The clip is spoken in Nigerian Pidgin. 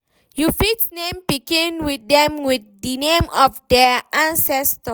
You fit name pikin dem with di name of their ancestor